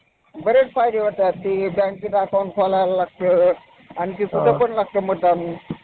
आहे थेउर, मुळा नदी आहेना पुण्यामधली तिच्या नदीकाठी तो थेउरचा गणपती आहे थेउरच्या गणपतीला